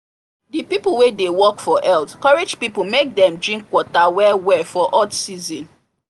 the people wey dey work for health courage people make dem drink water well well for hot season